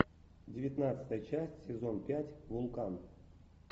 девятнадцатая часть сезон пять вулкан